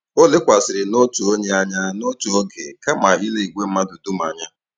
O lekwasịrị n'otu onye anya n'otu oge kama ile igwe mmadụ dum anya.